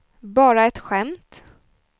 bara ett skämt